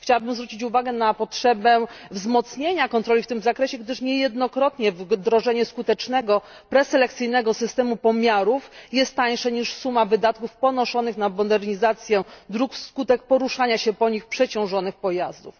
Chciałabym zwrócić uwagę na potrzebę wzmocnienia kontroli w tym zakresie, gdyż niejednokrotnie wdrożenie skutecznego preselekcyjnego systemu pomiarów jest tańsze niż suma wydatków ponoszonych na modernizację dróg wskutek poruszania się po nich przeciążonych pojazdów.